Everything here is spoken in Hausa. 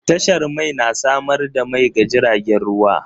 Tashar mai na samar da mai ga jiragen ruwa.